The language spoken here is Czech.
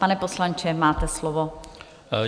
Pane poslanče, máte slovo.